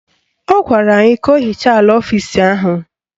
Ọ gwara ya ka o hichaa ala ọfisi ahụ